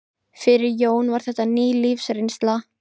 Fyrir Jóni var þetta ný lífsreynsla.